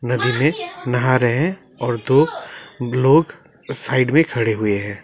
नदी में नहा रहे हैं और दो लोग साइड में खड़े हुए हैं।